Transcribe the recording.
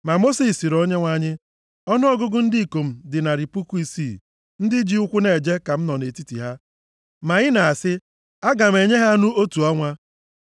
Ma Mosis sịrị Onyenwe anyị, “Ọnụọgụgụ ndị ikom dị narị puku isii + 11:21 Ya bụ, 600,000 ndị ji ụkwụ eje ka m nọ nʼetiti ha, ma ị na-asị, ‘Aga m enye ha anụ otu ọnwa.’